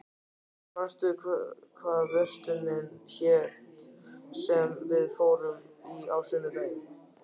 Hildur, manstu hvað verslunin hét sem við fórum í á sunnudaginn?